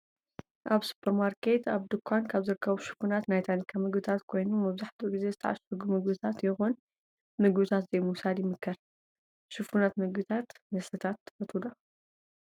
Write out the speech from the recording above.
ኣብ ስፖርማርኬት ኣብ ድኳን ካብ ዝርከቡ ሽፉናት ናይ ታኒካ ምግብታት ኮይኑ መብዛሕቲ ግዜ ዝተዓሸጉ ምግብታት ይኩን ምግብታት ዘይምውሳድ ይምከር። ሽፉናት ምግብታት መስተታት ትፈትው?